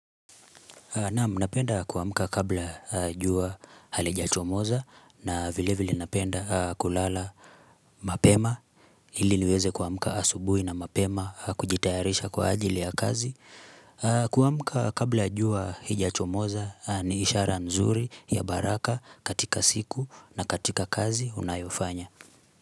Naam, napenda kuamuka kabla jua halijachomoza na vile vile napenda kulala mapema ili niweze kuamuka asubui na mapema kujitayarisha kwa ajili ya kazi. Kuamuka kabla jua hijachomoza ni ishara nzuri ya baraka katika siku na katika kazi unayofanya.